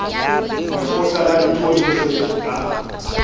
lekgotla la dipuo tsohle la